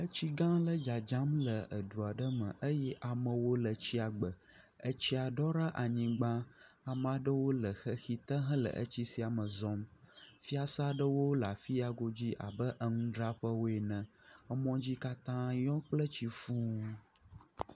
Tsigã aɖe dzadzam le du aɖe me eye amewo le tsia gbe etsia ɖɔ ɖe anyigbã ame aɖewo le xexi te hele tsia me zɔm fiase aɖewo le afi ya godzi abe enudzraƒewoe ene emɔ dzi katã yɔ kple tsi fuu